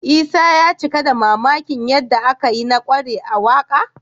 Isa ya cika da mamakin yadda aka yi na ƙware a waƙa